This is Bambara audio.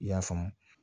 I y'a faamu